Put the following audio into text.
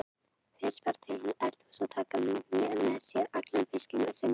Fyrst fara þau inn í eldhús og taka með sér allan fiskinn sem veislugestir leyfðu.